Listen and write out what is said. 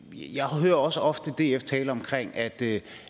jeg hører også ofte df tale om at det